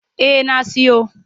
Eh na siyo.